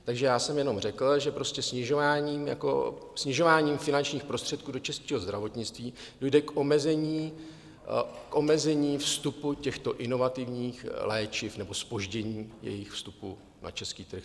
Takže já jsem jenom řekl, že prostě snižováním finančních prostředků do českého zdravotnictví dojde k omezení vstupu těchto inovativních léčiv nebo zpoždění jejich vstupu na český trh.